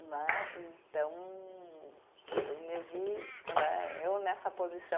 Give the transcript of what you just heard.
Né, então, eu me vi né, eu nessa posição,